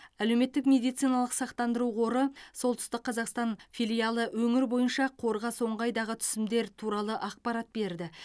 әлеуметтік медициналық сақтандыру қоры солтүстік қазақстан филиалы өңір бойынша қорға соңғы айдағы түсімдер туралы ақпарат берді